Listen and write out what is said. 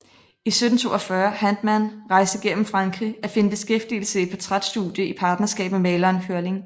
I 1742 Handmann rejste gennem Frankrig at finde beskæftigelse i et portræt studie i partnerskab med maleren Hörling